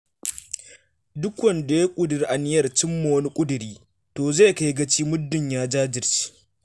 Duk wanda ya ƙudiri aniyar cim ma wani ƙudiri, to zai kai gaci muddun ya jajirce.